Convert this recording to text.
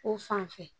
Ko fanfɛ